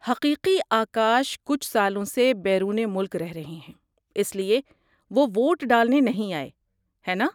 حقیقی آکاش کچھ سالوں سے بیرون ملک رہ رہے ہیں، اس لیے وہ ووٹ ڈالنے نہیں آئے، ہے نا؟